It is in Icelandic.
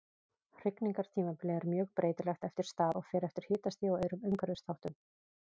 Hrygningartímabilið er mjög breytilegt eftir stað og fer eftir hitastigi og öðrum umhverfisþáttum.